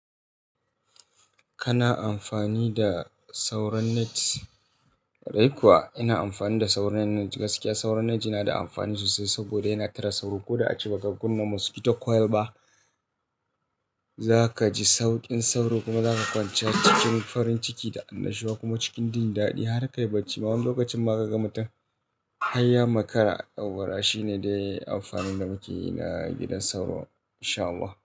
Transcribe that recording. Kana amfani da sauran net? Dai kuwa ina amfani da sauran net. Gaskiya sauran net yana da amfani sosai saboda yana tare sauro ko da a cikin bakakunnan mosquito coil ba. Za ka ji sauƙin sauro kuma za ka kwance cikin farin ciki da annashuwa kuma cikin jin daɗi har ka yi barci. Amma wani lokacin ma ka ga mutum hayya makara ɗauraa. Shi ne dai amfanin da muke yi na gidan sauro. Insha Allah.